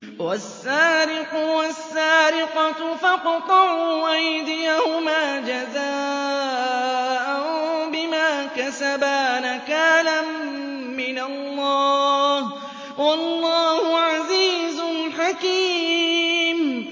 وَالسَّارِقُ وَالسَّارِقَةُ فَاقْطَعُوا أَيْدِيَهُمَا جَزَاءً بِمَا كَسَبَا نَكَالًا مِّنَ اللَّهِ ۗ وَاللَّهُ عَزِيزٌ حَكِيمٌ